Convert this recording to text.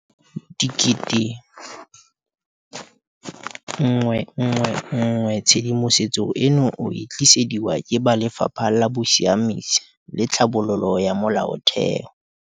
ga se a bolo go diragatsa letsholo la bona la go fepa barutwana go tloga ka ngwaga wa 1994.